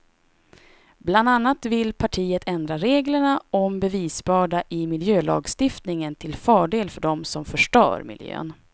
Bland annat vill partiet ändra reglerna om bevisbörda i miljölagstiftningen till fördel för dem som förstör miljön.